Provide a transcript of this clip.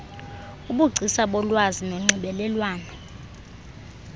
ubugcisa bolwazi nonxibelelwano